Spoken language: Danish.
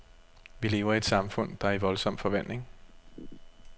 Vi lever i et samfund, der er i voldsom forvandling.